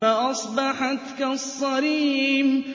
فَأَصْبَحَتْ كَالصَّرِيمِ